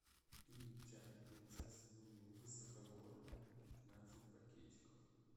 и чай принцесса нури высокогорная пятнадцать пакетиков